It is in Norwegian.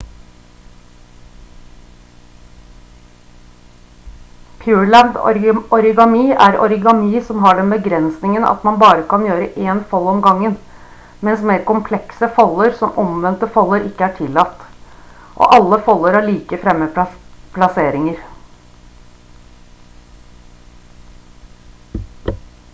pureland origami er origami som har den begrensningen at man bare kan gjøre én fold om gangen mens mer komplekse folder som omvendte folder ikke er tillatt og alle folder har likefremme plasseringer